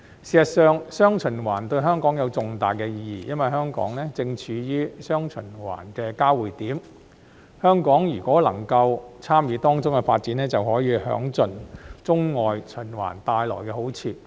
事實上，"雙循環"對香港有重大意義，因為香港正處於"雙循環"的交匯點，如果香港能夠參與當中的發展，便可以享盡中外循環帶來的好處。